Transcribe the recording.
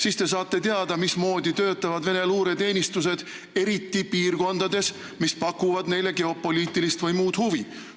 Siis te saate teada, mismoodi töötavad Venemaa luureteenistused, eriti piirkondades, mis pakuvad neile geopoliitilist või muud huvi.